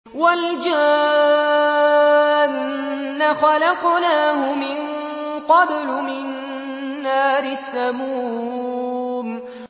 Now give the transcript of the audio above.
وَالْجَانَّ خَلَقْنَاهُ مِن قَبْلُ مِن نَّارِ السَّمُومِ